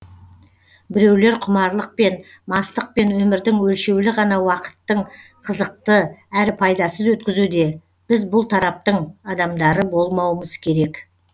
біреулер құмарлықпен мастықпен өмірдің өлшеулі ғана уақыттың қызықты әрі пайдасыз өткізуде біз бұл тараптың адамдары болмауымыз керек